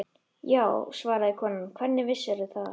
Já, svaraði konan, hvernig vissirðu það?